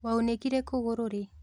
Waunĩkire kũgũrũ ri?